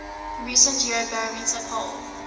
recent eurobarometer poll